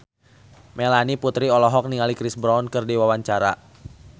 Melanie Putri olohok ningali Chris Brown keur diwawancara